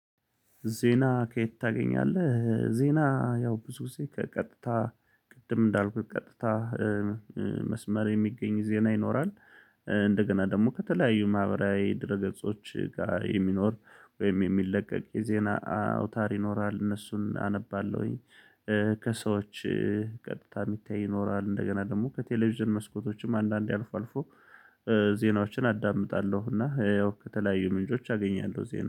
ዜና ከየት? ታገኛለህ ዜና ያው ብዙ ጊዜ ከቀጥታ ቅድም እንዳልኩት ቀጥታ መስመር የሚገኝ ዜና ይኖራል። እንደገና ደግሞ ከተለያዩ ማህበራዊ ድረ ገጾች ጋር የሚኖር ወይም የሚለቀቅ የዜና አውታር ይኖራል እነሱን አነባለሁኝ። ከሰዎች ቀጥታ የሚታይ ይኖራል እንደገና ደግሞ ከቴሌቪዥን መስኮቶችም አንዳንዴ አልፎ አልፎ። ዜናዎችን አዳምጣለሁ እና ያው ከተለያዩ ምንጮች አገኛለሁ። ዜና